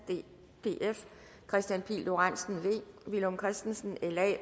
kristian pihl lorentzen villum christensen